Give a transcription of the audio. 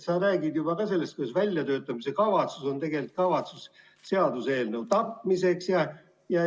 Sa räägid sellest juba, kuidas väljatöötamiskavatsus on kavatsus seaduseelnõu tapmiseks.